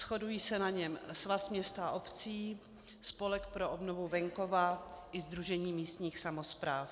Shodují se na něm Svaz měst a obcí, Spolek pro obnovu venkova i Sdružení místních samospráv.